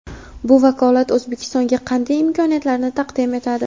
Bu vakolat O‘zbekistonga qanday imkoniyatlarni taqdim etadi?.